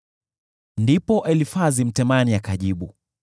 Ndipo Elifazi Mtemani akajibu: